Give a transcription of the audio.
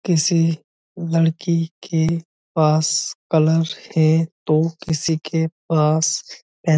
किसी लड़की के पास कलर है तो किसी के पास पेन ।